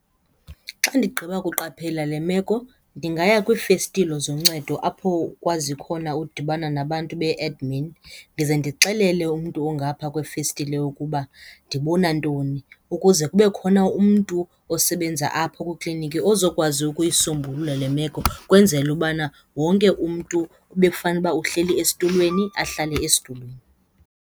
Xa ndigqiba ukuqaphela le meko ndingaya kwiifestile zoncedo apho ukwazi khona udibana nabantu be-admin ndize ndixelele umntu ongaphaa kwefestile ukuba ndibona ntoni, ukuze kube khona umntu osebenza apho kwikliniki ozokwazi ukuyisombulula le meko, ukwenzela ubana wonke umntu ebekufanele uba uhleli esitulweni ahlale esitulweni.